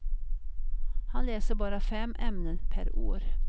Han läser bara fem ämnen per år.